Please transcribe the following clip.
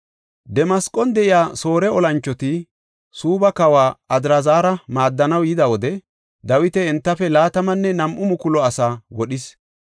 Damasqon de7iya Soore olanchoti Suubba kawa Adraazara maaddanaw yida wode Dawiti entafe laatamanne nam7u mukulu asaa wodhis.